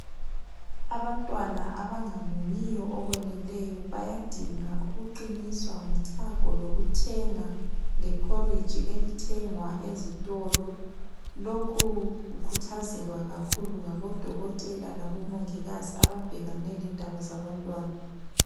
Abantwana abangamunyiyo okweneleyo bayadinga ukuqiniswa ngochago lokuthenga lephoriji elithengwa ezitolo. Lokhu kukhuthazelwa kakhulu ngabodokotela labomongikazi ababhekane lendaba zabantwana.